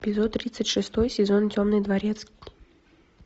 эпизод тридцать шестой сезон темный дворецкий